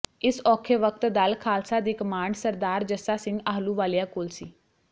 ਇਸ ਔਖੇ ਵਕਤ ਦਲ ਖਾਲਸਾ ਦੀ ਕਮਾਂਡ ਸਰਦਾਰ ਜੱਸਾ ਸਿੰਘ ਆਹਲੂਵਾਲੀਆ ਕੋਲ ਸੀ